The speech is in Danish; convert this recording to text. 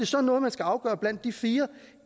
så er noget man skal afgøre blandt de fire